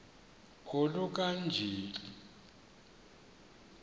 oluka ka njl